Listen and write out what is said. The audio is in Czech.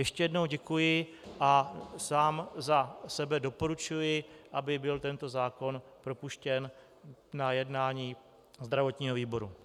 Ještě jednou děkuji a sám za sebe doporučuji, aby byl tento zákon propuštěn na jednání zdravotního výboru.